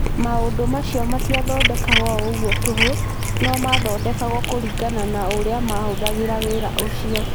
Maũndũ macio matiathondekagwo o ũguo tũhũ, no maathondekagwo kũringana na ũrĩa mahũthagĩra wĩra ũcio.